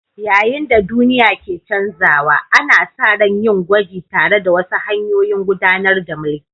Yayin da duniya ke canzawa, ana sa ran yin gwaji tare da wasu hanyoyin gudanar da mulki.